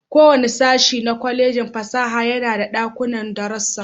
Kowane sashin na Kwallejin fasaha yana da dakunan darasu.